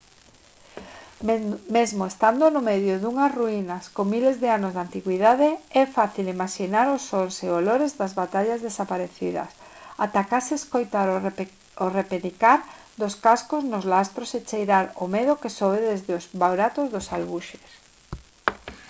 mesmo estando no medio dunhas ruínas con miles de anos de antigüidade é fácil imaxinar os sons e olores das batallas desaparecidas ata case escoitar o repenicar dos cascos nos lastros e cheirar o medo que sobe desde os buratos dos alxubes